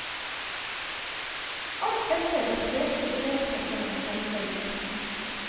Alt dette de fleste ser på som en selvfølge.